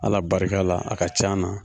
Ala barika la a ka can na.